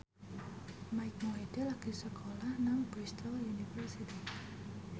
Mike Mohede lagi sekolah nang Bristol university